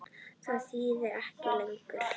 Það þýðir ekki lengur.